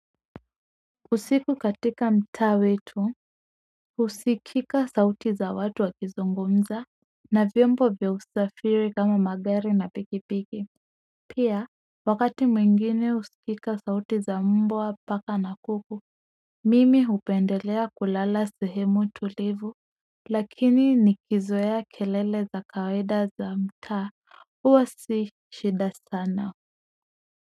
Usiku katika mtaa wetu husikika sauti za watu wakizungumza na vyombo vya usafiri kama magari na pikipiki pia, wakati mwingine husikika sauti za mbwa paka na kuku mimi hupendelea kulala sehemu tulivu lakini nikizoea kelele za kawaida za mtaa huwa si shida sana.